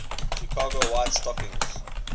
chicago white stockings